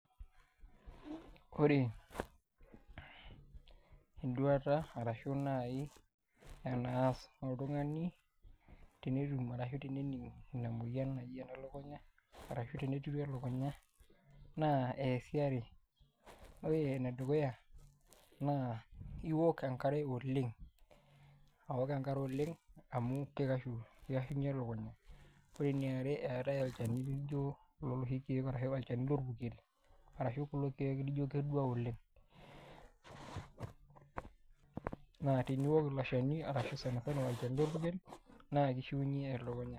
Ore enduata arashu naai enaas oltung'ani tenetum arashu tenening' ina moyian naji ene lukunya arashu tenetirru elukunya naa eesi are ore enedukuya naa iok enkare oleng' aok enkare oleng' amu kikashunyie elukunya ore eniare eetai olchani lijio iloshi keek ashu olchani lorpurkel arashu kulo keek lijio kedua oleng', naa teniok ilo shani kake sani sana olchani lorpurkel naa kishiunyie elukunya.